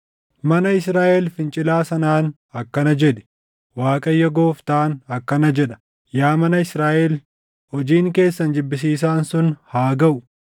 Mana Israaʼel fincilaa sanaan akkana jedhi; ‘ Waaqayyo Gooftaan akkana jedha: Yaa mana Israaʼel, hojiin keessan jibbisiisaan sun haa gaʼu!